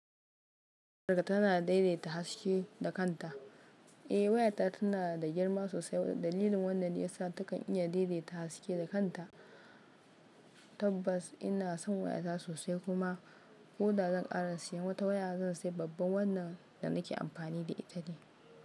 Tana daidaita haske da kanta. Eh wayara tana da girma sosai. Dalilin wannan ne ya sa ta kan iya daidaita haske da kanta. Tabbas ina san wayata sosai kuma koda zan kara siyan wata waya. Zan sayi babban wannan da nake amfani da ita ne.